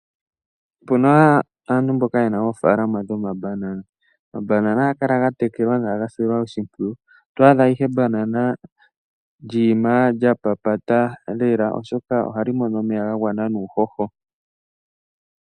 Opu na aantu mboka yena oofaalama dhomabanana. Ohaga kala ga silwa nawa oshimpwiyu oto asha ihe ebanana lyi ima lya papata lela oshoka ohali mono omeya ga gwana nuuhoho.